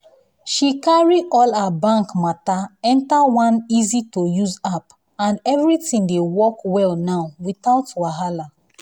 she carry all her bank matter enter one easy-to-use app and everything dey work well now without wahala.